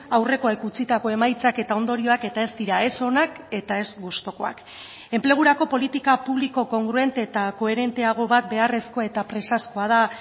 aurrekoek utzitako emaitzak eta ondorioak eta ez dira ez onak eta ez gustukoak enplegurako politika publiko kongruente eta koherenteago bat beharrezkoa eta presazkoa da